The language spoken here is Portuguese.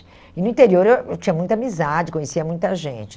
E no interior eu eu tinha muita amizade, conhecia muita gente.